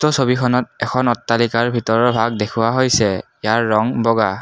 উক্ত ছবিখনত এখন অট্টালিকাৰ ভিতৰৰ ভাগ দেখুওৱা হৈছে ইয়াৰ ৰং বগা।